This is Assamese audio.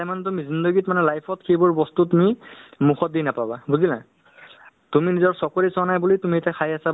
কিয়নো ধৰক আহ্ আজিকালি মানুহে যি শাৰীৰিক চৰ্চা মানে ধৰক আপোনাৰ ব্যায়াম বা exercise কৰিব মানুহে পাহৰি গৈছে বুলি ক'লে হ'ল বুজিছানে নাই ?